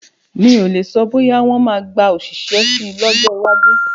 Mi o le sọ, bóyá wọn máa gba òṣìṣẹ́ síi lọ́jọ́ iwájú